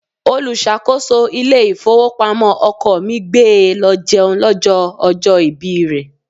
Olùṣàkóso ilé ìfowópamọ́ ọkọ mi gbé e lọ jẹun lọ́jọ́ ọjọ́ ìbí rẹ.